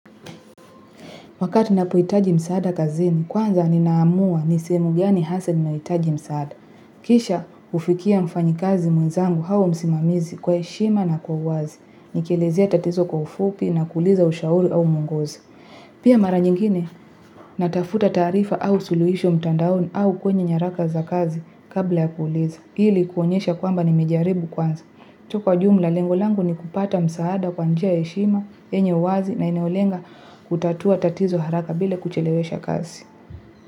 Wakati ninapohitaji msaada kazini, kwanza ninaamua ni sehemu gani hasa ninayohitaji msaada. Kisha hufikia mfanyakazi mwenzangu au msimamizi kwa heshima na kwa uwazi. Nikilezea tatizo kwa ufupi na kuuliza ushauri au muongozo. Pia mara nyingine, natafuta taarifa au suluhisho mtandaoni au kwenye nyaraka za kazi kabla ya kuuliza. Ili kuonyesha kwamba nimejaribu kwanza. Tu kwa jumla lengo langu ni kupata msaada kwa njia ya heshima, yenye uwazi na inayolenga kutatua tatizo haraka bila kuchelewesha kazi.